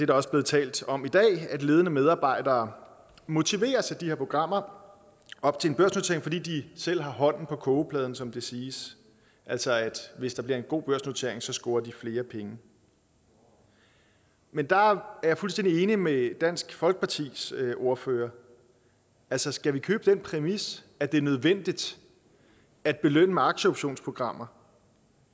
der også blevet talt om i dag at ledende medarbejdere motiveres til de her programmer op til en børsnotering fordi de selv har hånden på kogepladen som det siges altså at hvis det bliver en god børsnotering scorer de flere penge men der er jeg fuldstændig enig med dansk folkepartis ordfører altså skal vi købe den præmis at det er nødvendigt at belønne med aktieoptionsprogrammer